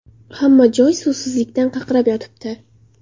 Hamma joy suvsizlikdan qaqrab yotibdi.